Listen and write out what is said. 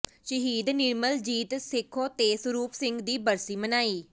ਸ਼ਹੀਦ ਨਿਰਮਲਜੀਤ ਸੇਖੋਂ ਤੇ ਸਰੂਪ ਸਿੰਘ ਦੀ ਬਰਸੀ ਮਨਾਈ